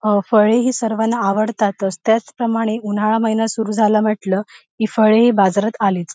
अ फळे ही सर्वाना अवडतातच त्याच प्रमाणे उन्हाळा महिना सुरू झाल्या म्हटल की फळे ही बाजारात आलीच.